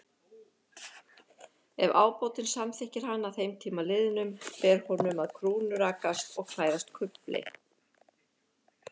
Ef ábótinn samþykkir hann að þeim tíma liðnum, ber honum að krúnurakast og klæðast kufli.